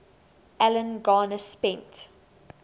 alan garner spent